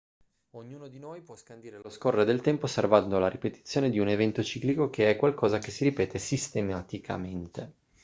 ognuno di noi può scandire lo scorrere del tempo osservando la ripetizione di un evento ciclico che è qualcosa che si ripete sistematicamente